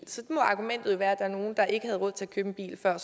så må argumentet jo være at der er nogle der ikke havde råd til at købe en bil før